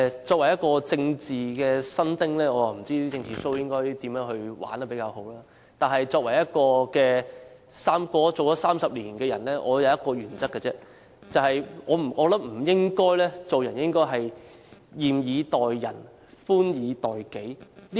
作為一名政治新丁，我不知道"政治秀"應該怎樣才玩得比較好；但作為一個活了30年的人，我只有一個原則，就是做人不應該"嚴以待人、寬以待己"。